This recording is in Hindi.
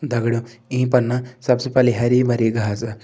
दगड़ियों ईं पर न सबसे पहली हरी भरी घासा।